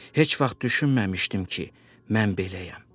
Heç vaxt düşünməmişdim ki, mən beləyəm.